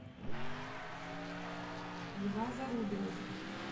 льва зарубина